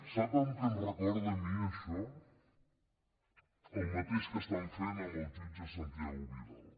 sap què em recorda a mi això el mateix que estan fent amb el jutge santiago vidal